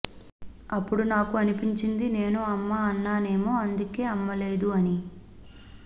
అప్పుడు నాకు అనిపించింది నేను అమ్మా అన్నానేమో అందుకే అమ్మ లేదు అని